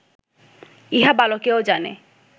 ইহা বালকেও জানে